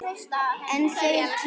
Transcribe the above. En þeir tímar!